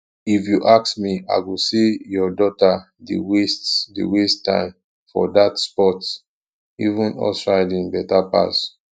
if you ask me i go say your daughter dey waste dey waste time for dat sport even horse riding beta pass